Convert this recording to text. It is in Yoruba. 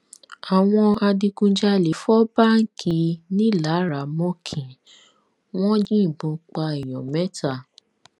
àwọn adigunjalè fọ báǹkì nilaramokin wọn yìnbọn pa èèyàn mẹta